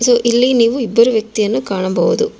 ಇಲ್ಲಿ ನೀವು ಇಬ್ಬರು ವ್ಯಕ್ತಿಯನ್ನು ಕಾಣಬಹುದು.